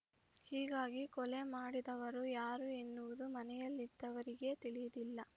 ಹೀಗಾಗಿ ಕೊಲೆ ಮಾಡಿದವರು ಯಾರು ಎನ್ನುವುದು ಮನೆಯಲ್ಲಿದ್ದವರಿಗೆ ತಿಳಿದಿಲ್ಲ